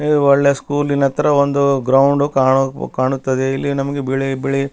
ಒಳ್ಳೆ ಸ್ಕೂಲಿನತ್ರ ಒಂದು ಗ್ರೌಂಡ್ ಕಾಣು ಕಾಣುತ್ತದೆ ಇಲ್ಲಿ ನಮ್ಗೆ ಒಂದು ಬಿಳಿ ಬಿಳಿ --